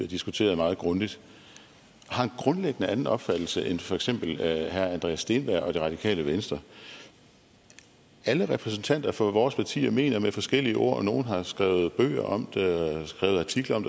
diskuteret meget grundigt har en grundlæggende anden opfattelse end for eksempel herre andreas steenberg og det radikale venstre alle repræsentanter for vores partier mener med forskellige ord og nogle har skrevet bøger om det og skrevet artikler om